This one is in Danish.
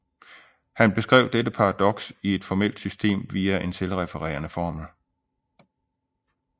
Han beskrev dette paradoks i et formelt system via en selvrefererende formel